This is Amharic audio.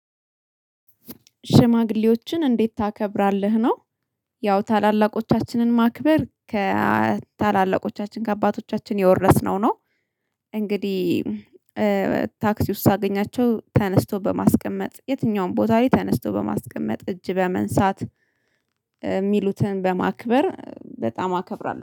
ሽማግሌዎችን እንዴት ታከብራለህ ነው? ያው ታላላቆቻችንን ማክበር ከታላላቆቻችን ከአባቶቻችን የወረስነው ነው። እንግዲህ ታክሲ ውስጥ ሳገኛቸው ተነስቶ በማስቀመጥ የትኛውም ቦታ ላይ ተነስቶ በማስቀመጥ እጅ በመንሳት የሚሉትን በማክበር በጣም አከብራለሁ